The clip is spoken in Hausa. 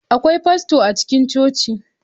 Akwai fasto a cikin coci?